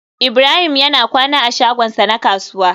Ibrahim yana kwana a shagonsa na kasuwa